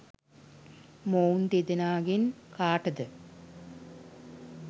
මොවුන් දෙදෙනාගෙන් කාටද